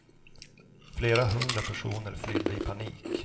Flera hundra personer flydde i panik.